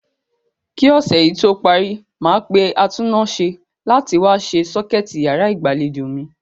Kí ọ̀sẹ̀ yí tó parí, màá pe atúnnáse láti wá se sọ́kẹ̀tì yàrá ìgbàlejò mi.